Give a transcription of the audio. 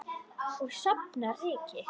Og safna ryki.